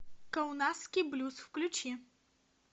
каунасский блюз включи